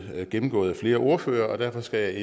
gennemgået af flere ordførere og derfor skal jeg